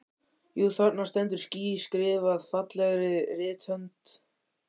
Jú, þarna stendur ský skrifað fallegri rithönd.